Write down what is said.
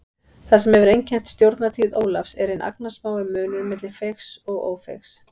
Það sem hefur einkennt stjórnartíð Ólafs er hinn agnarsmái munur milli feigs og ófeigs.